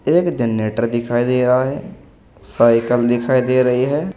एक जनरेटर दिखाइए दे रहा है साइकिल दिखाई दे रही है।